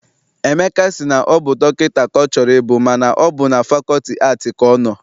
Emeka sị na ọ bụ dọkịta ka ọ chọrọ ịbụ mana ọ bụ na fakọlti aatị ka ọ nọ.